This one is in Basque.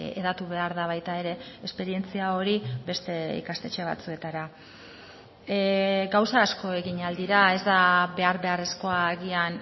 hedatu behar da baita ere esperientzia hori beste ikastetxe batzuetara gauza asko egin al dira ez da behar beharrezkoa agian